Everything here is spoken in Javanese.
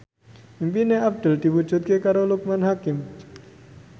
impine Abdul diwujudke karo Loekman Hakim